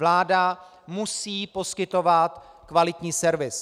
Vláda musí poskytovat kvalitní servis.